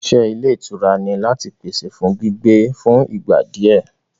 Ìṣe Ilé ìtura ni láti pèsè fún gbígbé fún ìgbà di ẹ.